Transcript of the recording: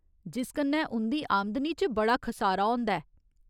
जिस कन्नै उं'दी आमदनी च बड़ा खसारा होंदा ऐ।